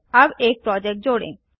अब एक प्रोजेक्ट जोड़ें